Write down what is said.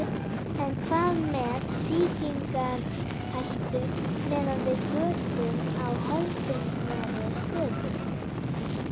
En hvað með sýkingarhættu miðað við götun á hefðbundnari stöðum?